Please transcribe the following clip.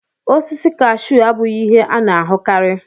Osisi kashu abụghị ihe a na-ahụkarị.